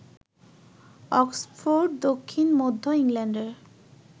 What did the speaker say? Oxford দক্ষিণ মধ্য ইংল্যান্ডের